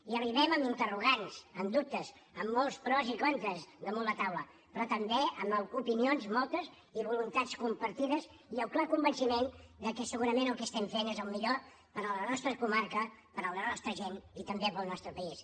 hi arribem amb interrogants amb dubtes amb molts pros i contres damunt la taula però també amb opinions moltes i voluntats compartides i el clar convenciment de que segurament el que estem fent és el millor per a la nostra comarca per a la nostra gent i també per al nostre país